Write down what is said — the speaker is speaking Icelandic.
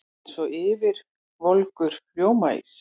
Eins og ylvolgur rjómaís.